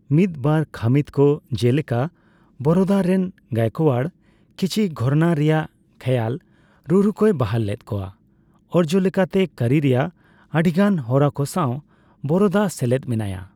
ᱢᱤᱫᱵᱟᱨ ᱠᱷᱟᱹᱢᱤᱛ ᱠᱚ, ᱡᱮᱞᱮᱠᱟ ᱵᱚᱨᱳᱫᱟ ᱨᱮᱱ ᱜᱟᱭᱠᱳᱣᱟᱲ, ᱠᱤᱪᱷᱤ ᱜᱷᱚᱨᱟᱱᱟ ᱨᱮᱱᱟᱜ ᱠᱷᱮᱭᱟᱞ ᱨᱩᱼᱨᱩ ᱠᱚᱭ ᱵᱟᱦᱟᱞ ᱞᱮᱫ ᱠᱚᱣᱟ; ᱚᱨᱡᱚ ᱞᱮᱠᱟᱛᱮ ᱠᱟᱹᱨᱤ ᱨᱮᱭᱟᱜ ᱟᱹᱰᱤᱜᱟᱱ ᱦᱚᱨᱟ ᱠᱚ ᱥᱟᱣ ᱵᱚᱨᱳᱫᱟ ᱥᱮᱞᱮᱫ ᱢᱮᱱᱟᱭᱟ ᱾